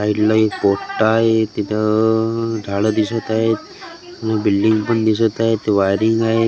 साइडला एक पोट्टा आहे तिथं अअ झाडं दिसत आहेत व बिल्डींग पण दिसत आहेत वायरिंग आहेत.